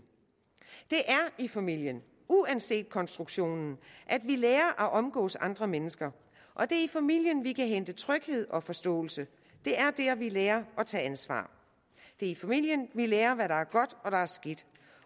det er i familien uanset konstruktionen at vi lærer at omgås andre mennesker og det er i familien at vi kan hente tryghed og forståelse det er der vi lærer at tage ansvar det er i familien vi lærer hvad der er godt og hvad der er skidt